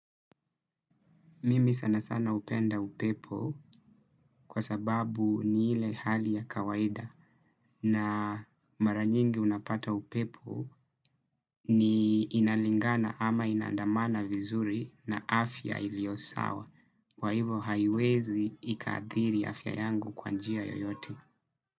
Mimi sana sana upenda upepo kwa sababu ni ile hali ya kawaida na mara nyingi unapata upepo ni inalingana ama inandamana vizuri na afya iliosawa kwaivo haiwezi ikaadhiri afya yangu kwanjia yoyote.